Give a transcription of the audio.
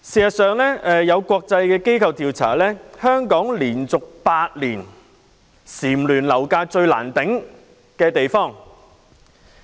有國際機構調查，香港連續8年蟬聯"樓價最難負擔"的地方。